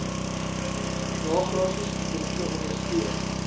nagraadse studente ondersteun